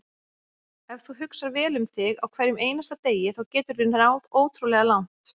Ef þú hugsar vel um þig á hverjum einasta degi þá geturðu náð ótrúlega langt.